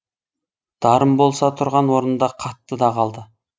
дарын болса тұрған орнында қатты да қалды